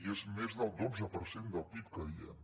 i és més del dotze per cent del pib que diem